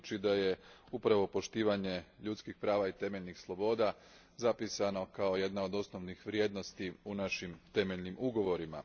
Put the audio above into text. Budući da je upravo poštovanje ljudskih prava i temeljnih sloboda zapisano kao jedna od osnovnih vrijednosti u našim temeljnim ugovorima.